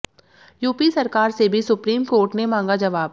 UP सरकार से भी सुप्रीम कोर्ट ने मांगा जवाब